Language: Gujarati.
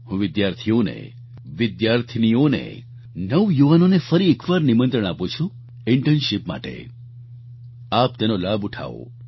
હું વિદ્યાર્થીઓને વિદ્યાર્થીનીઓને નવયુવાનોને ફરી એકવાર નિમંત્રણ આપું છું ઈન્ટર્નશિપ માટે આપ તેનો લાભ ઉઠાવો